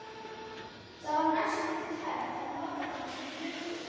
Það var næstum því hægt að nota hana sem klukku.